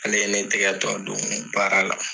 Ale ye ne tɛgɛ tɔ don baara la.